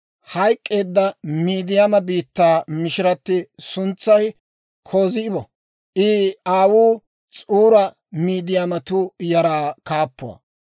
Hayk'k'eedda Midiyaama biittaa mishiratti suntsay Kozibo; I aawuu S'uuri Midiyaamatuu yaraa kaappuwaa.